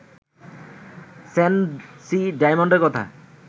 Sancy ডায়মন্ডের কথা